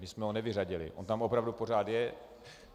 My jsme ho nevyřadili, on tam opravdu pořád je.